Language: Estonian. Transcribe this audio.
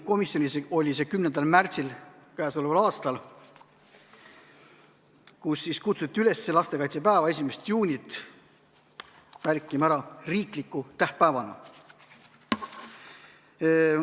Komisjonis oli see 10. märtsil, kus siis kutsuti üles lastekaitsepäeva ehk 1. juunit märkima ära riikliku tähtpäevana.